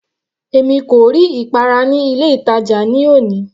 Èmi kò rí ìpara ní ilé ìtàjà ní òní.